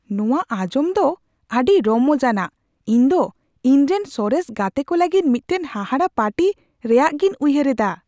ᱱᱚᱶᱟ ᱟᱧᱡᱚᱢ ᱫᱚ ᱟᱹᱰᱤ ᱨᱚᱢᱚᱡ ᱟᱱᱟᱜ ! ᱤᱧ ᱫᱚ ᱤᱧᱨᱮᱱ ᱥᱚᱨᱮᱥ ᱜᱟᱛᱮ ᱠᱚ ᱞᱟᱹᱜᱤᱫ ᱢᱤᱫᱴᱟᱝ ᱦᱟᱦᱟᱲᱟ ᱯᱟᱨᱴᱤ ᱨᱮᱭᱟᱜᱤᱧ ᱩᱭᱦᱟᱹᱨ ᱤᱫᱟ ᱾